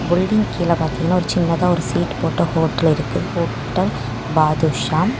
புல்டிங் கீழ பாத்தீங்கன்னா ஒரு சின்னதா ஒரு சீட் போட்ட ஹோட்டல் இருக்கு ஹோட்டல் பாதுஷா .